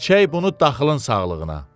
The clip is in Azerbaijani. İçək bunu daxılın sağlığına.